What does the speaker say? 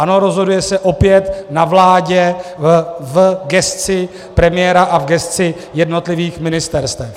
Ano, rozhoduje se opět na vládě v gesci premiéra a v gesci jednotlivých ministerstev.